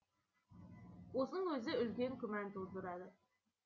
осының өзі үлкен күмән тудырады